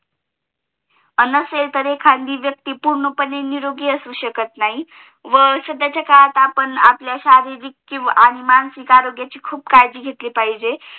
नसेल तरी खाजगी व्यक्ती पूर्णपणे निरोगी असू शकत नाही व स्वतःचा कामात हि आपण शारीरिक इन्वा मानसिक आरोग्याची खूप काळजी घेतली अपहीजे